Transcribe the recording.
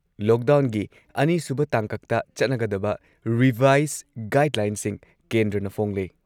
ꯂꯣꯛꯗꯥꯎꯟꯒꯤ ꯑꯅꯤꯁꯨꯕ ꯇꯥꯡꯀꯛꯇ ꯆꯠꯅꯒꯗꯕ ꯔꯤꯚꯥꯏꯁ ꯒꯥꯏꯗꯂꯥꯏꯟꯁꯤꯡ ꯀꯦꯟꯗ꯭ꯔꯅ ꯐꯣꯡꯂꯦ ꯫